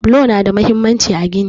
Bulo nada mahimmanci a gini.